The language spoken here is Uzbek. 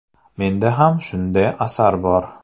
Menda ham shunday asar bor.